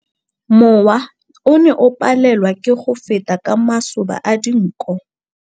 Mowa o ne o palelwa ke go feta ka masoba a dinko.